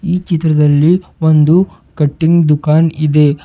ಈ ಚಿತ್ರದಲ್ಲಿ ಒಂದು ಕಟಿಂಗ್ ದುಕಾನ್ ಇದೆ.